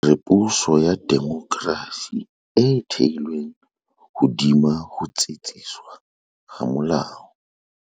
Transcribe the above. Re puso ya demokrasi e thehilweng hodima ho tsitsiswa ha molao.